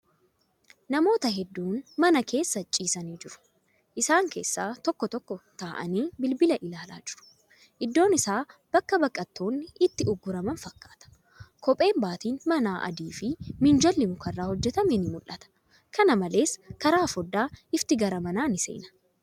Namoota hedduun mana keessa ciisanii jiru. Isaan keessa tokko tokko taa'aanii bilbila ilaalaa jiru. Iddoon isaa bakka baqattoonni itti ugguraman fakkaata. Kopheen baaxiin manaa adiifi minjaalli mukarraa hojjatame ni mul'ata. Kana malees, karaa foddaa ifti gara manaa ni seena.